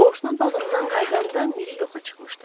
Qonşunun bağından qayıdanda Miri yoxa çıxmışdı.